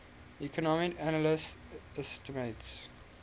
economic analysis estimates